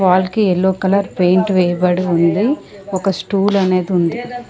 Wall కి yellow colour paint వేయబడి ఉంది ఒక స్టూల్ అనేది ఉంది.